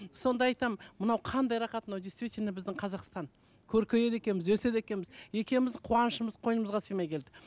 сонда айтамын мынау қандай рахат мынау действительно біздің қазақстан көркейеді екенбіз өседі екенбіз екеуіміздің қуанышымыз қойнымызға сыймай келді